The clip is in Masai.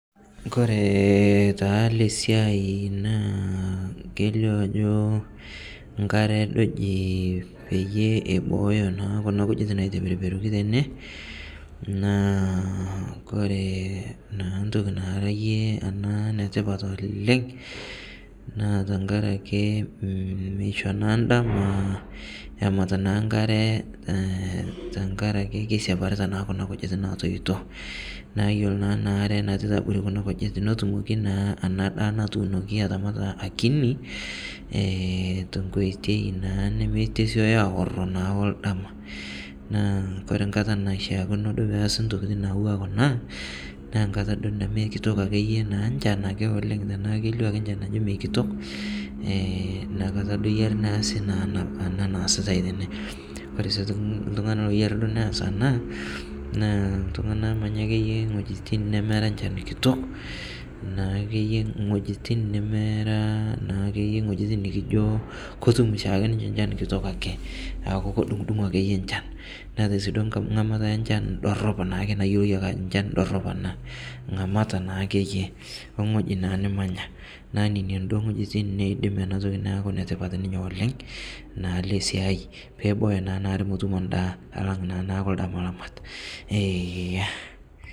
Kore taa ele sia naa keileo ajoo nkaare doo ejii peiye ebooyo naa kuna nkujiit naiteperperorii tene, naa kore naa ntokii naa iyee ana naa netipaat oleng naa tang'araki meishoo naa ndaama emuut naa nkaare ee tang'araki keisaparita naa kuna ntokitin naitoitoo. Naa iyeloo naa ana aare naisapitaa naaa kuna nkujiit netumooki naa ana ndaa naiboori aramaata akinii ee to nkotei naa nemeetesioyoo aoorr naa oldama. Naa kore nkaata naishakinoo doo pees ntokitin naiwua kuna naa nkaata doo nemekitook ake iyee nchaan ake oleng tana keileo ake nchaan ajoo mee nkitook. Eeh naa nkaata anaari doo neasi enia naasitai tene. Kore sii doo ltung'ani ayaari nees naa ltung'ana omanyaa ake iyee ng'otijin nemeraa nchaan kitook, naake iyee nkotijin nemeraa naake ng'ojitin nikijoo kotuum shaake iyee nchaan kitook ake, aaku kedung'udung'oo ake iyee nchaan . Neetai sii doo ng'amaata enchaan doorop naiyoo ake ajoo enchaan doorop ana. Ng'aamat naake iyee o ng'ojii naa nimanyaa. Naa nenia doo ng'ojitin naijoo neidiim ana ntokii naaku netipaat ninyee oleng' naa ele siai pee ebooyo naa ana aare metuumo ndaa alang' naaku ldama lamaat eeh.